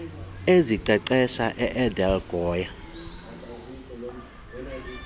eziqeqesha edelq goa